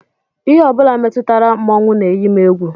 Ihe ọ bụla metụtara mmọnwụ na-eyi m egwu